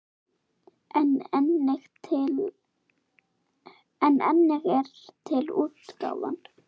En einnig er til útgáfan